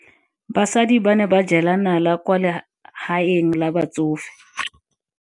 Basadi ba ne ba jela nala kwaa legaeng la batsofe.